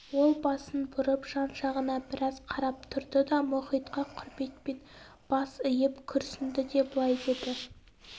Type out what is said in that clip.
ол басын бұрып жан жағына біраз қарап тұрды да мұхитқа құрметпен бас иіп күрсінді де былай деді